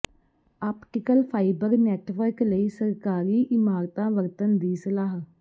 optical fibre network ਲਈ ਸਰਕਾਰੀ ਇਮਾਰਤਾਂ ਵਰਤਣ ਦੀ ਸਲਾਹ